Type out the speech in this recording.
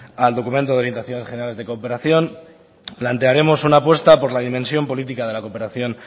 al documento de orientación generales de cooperación plantearemos una apuesta por la dimensión política de la cooperación